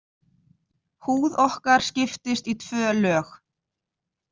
Húð okkar skiptist í tvö lög.